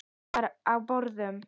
Þar var á borðum